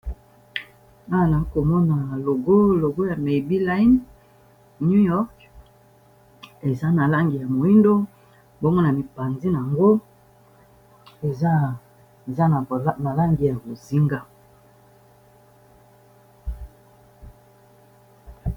Awa nazomona logo ya Maybel line new york, eza na langi ya moindo, bongo na mipanzi na yango eza na ba langi ya bozinga.